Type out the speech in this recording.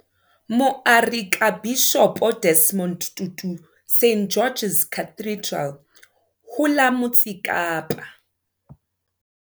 Moarekabishopo Desmond Tutu St George's Cathedral ho la Motse Kapa.